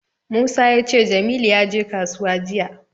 Musa ya ce Jamilu ya je kasuwa jiya.